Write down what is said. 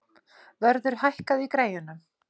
Vörður, hækkaðu í græjunum.